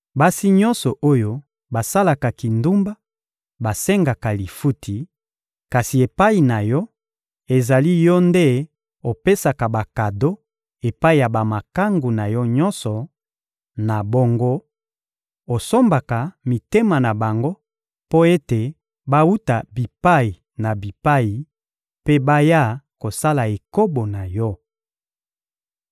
Basi nyonso oyo basalaka kindumba basengaka lifuti; kasi epai na yo, ezali yo nde opesaka bakado epai ya bamakangu na yo nyonso: na bongo, osombaka mitema na bango mpo ete bawuta bipai na bipai mpe baya kosala ekobo na yo.